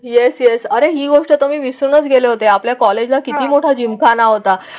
Yes yes अरे ही गोष्ट तुम्ही विसरूनच गेले होते. आपल्या कॉलेजला किती मोठा जिम झाला होता?